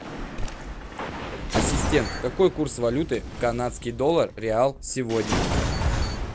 ассистент какой курс валюты канадский доллар реал сегодня